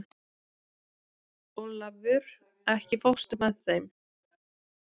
Olavur, ekki fórstu með þeim?